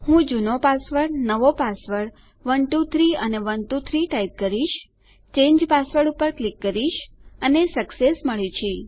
હું જુનો પાસવર્ડ નવો પાસવર્ડ 123 અને 123 ટાઈપ કરીશ ચાંગે પાસવર્ડ ક્લિક કરીશ અને સક્સેસ મળે છે